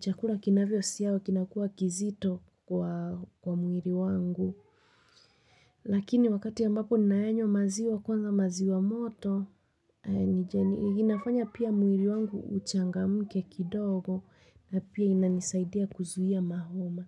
Chakula kinavyo siyawa kinakua kizito kwa mwili wangu. Lakini wakati ambako ninaenywa maziwa kwanza maziwa moto, inafanya pia mwili wangu uchangamke kidogo na pia inanisaidia kuzuia mahoma.